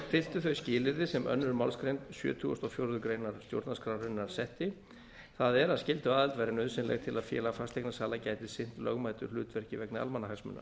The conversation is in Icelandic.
uppfylltu þau skilyrði sem önnur málsgrein sjötugustu og fjórðu grein stjórnarskrárinnar setti það er að skylduaðild væri nauðsynleg til að félag fasteignasala gæti sinnt lögmætu hlutverki vegna almannahagsmuna